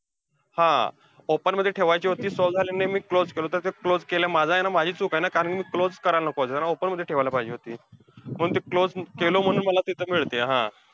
हा! open मध्ये ठेवायची होती. solve झाली नाही, मी closed केलो तर ते माझं आहे ना, माझी चूक आहे ना. कारण मी closed करायला नको पाहिजे होतं. open मध्ये ठेवायला पाहिजे होती. म्हणून ते closed केलो म्हणून मला तिथंती मिळतीया हा.